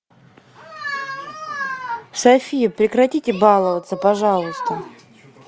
софия прекратите баловаться пожалуйста